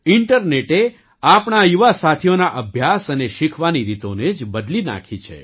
ઇન્ટરનેટે આપણા યુવા સાથીઓના અભ્યાસ અને શીખવાની રીતોને જ બદલી નાખી છે